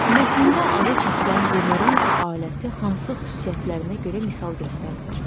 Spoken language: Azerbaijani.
Mətndə adı çəkilən bumeranq aləti hansı xüsusiyyətlərinə görə misal göstərilir?